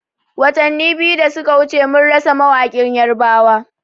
Watani biyu da suka wuce mun rasa mawaƙin yarbawa